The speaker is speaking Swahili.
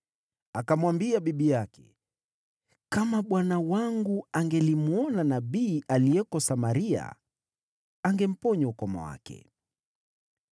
Akamwambia bibi yake, “Kama bwana wangu angelimwona nabii aliyeko Samaria! Angemponya ukoma wake.”